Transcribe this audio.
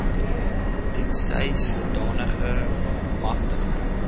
tensy sodanige magtiging